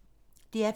DR P1